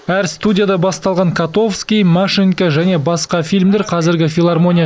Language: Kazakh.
әр студияда басталған котовский машенька және басқа фильмдер қазіргі филармония